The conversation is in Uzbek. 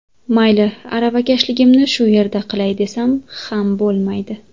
Mayli aravakashligimni shu yerda qilay, desam ham bo‘lmaydi.